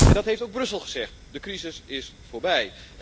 Dat heeft ook Brussel gezegd de crisis is voorbij.